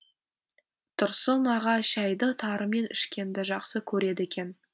тұрсын аға шәйді тарымен ішкенді жақсы көреді екен